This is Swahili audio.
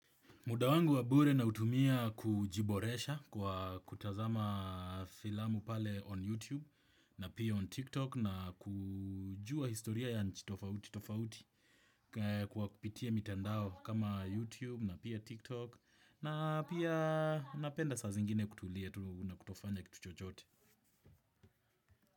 Muda wangu wabure nautumia kujiboresha kwa kutazama filamu pale on YouTube na pia on TikTok na kujua historia ya nchi tofauti kwa kupitia mitandao kama YouTube na pia TikTok na pia napenda saa zingine kutulia na kutofanya kitu chochote.